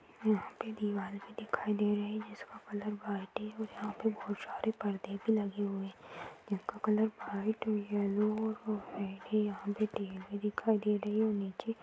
यहाँ पे दीवार भी दिखाई दे रही है जिसका कलर वाइट है। यहाँ पे बोहोत सारे परदे भी लगे हुए हैं। जिनका कलर वाइट येल्लो यहाँ पे टीवी भी दिखाई दे रही है और नीचे --